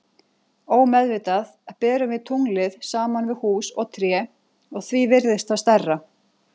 Ómeðvitað berum við tunglið saman við hús og tré og því virðist það stærra.